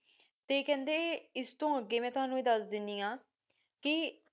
ਤੇ ਕਹਿੰਦੇ ਇਸ ਤੋਂ ਅਗੇ ਮੈ ਤੁਹਾਨੂ ਏ ਦਸ ਦਿੰਦੀ ਆ ਕਿ